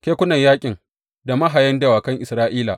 Kekunan yaƙin da mahayan dawakan Isra’ila!